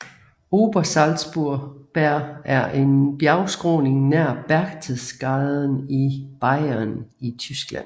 Obersalzberg er en bjergskråning nær Berchtesgaden i Bayern i Tyskland